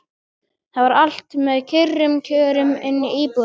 Það var allt með kyrrum kjörum inni í íbúðinni.